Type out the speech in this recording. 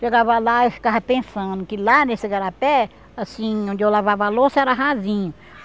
Chegava lá, eu ficava pensando que lá nesse igarapé, assim, onde eu lavava a louça era rasinho.